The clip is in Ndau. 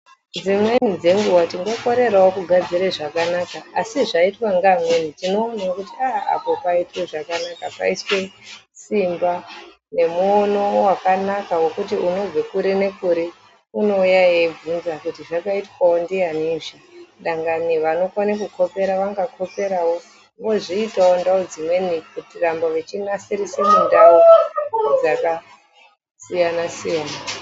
Dzimweni ngenguwa tingakirerewo kugadzire zvakanaka asi zvaitwawo ngevamweni tinoona kuti aa apo paitwe zvakanaka paiswe simba nemuono wakanaka wekuti unobve kuri nekuri unouya eibvunza kuti zvakaitwa ndiani izvi dangani vanokone kukolera vangakoperawo ozviitawo kundau dzimweni kuramba vechinasirise mundau dzakasiyana siyana.